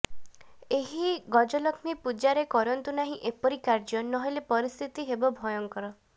ଏହି ଗଜଲକ୍ଷ୍ମୀ ପୂଜାରେ କରନ୍ତୁ ନାହିଁ ଏପରି କାର୍ଯ୍ୟ ନହେଲେ ପରିସ୍ଥିତି ହେବ ଭୟଙ୍କର